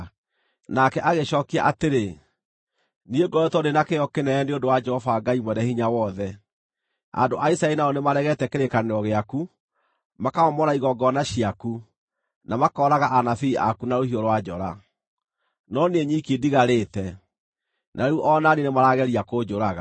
Nake agĩcookia atĩrĩ, “Niĩ ngoretwo ndĩ na kĩyo kĩnene nĩ ũndũ wa Jehova Ngai Mwene-Hinya-Wothe. Andũ a Isiraeli nao nĩmaregete kĩrĩkanĩro gĩaku, makamomora igongona ciaku, na makooraga anabii aku na rũhiũ rwa njora. No niĩ nyiki ndigarĩte, na rĩu o na niĩ nĩmarageria kũnjũraga.”